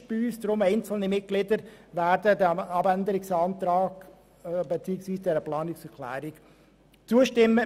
Deshalb werden einzelne Mitglieder unserer Fraktion dieser Planungserklärung zustimmen.